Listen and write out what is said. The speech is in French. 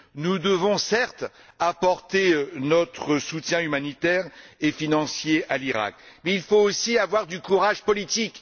Nous devons certes apporter notre soutien humanitaire et financier à l'Iraq, mais il faut aussi avoir du courage politique.